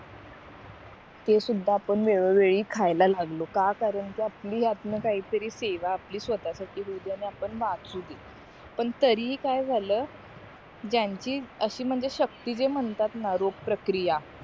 ते सुद्धा आपण वेळो वेळी खायला लागलो का कारण कि आपली ह्यांतन काय तरी सेवा स्वतःसाठी होउदे आणि आपण वाचू दे पण तरीही काय झाला ज्यांची अशी म्हणजे शक्ती दे म्हणतात ना रोग प्रकारीया